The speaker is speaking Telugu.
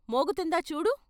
మోగుతుందా చూడు.